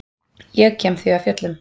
Ég kem því af fjöllum.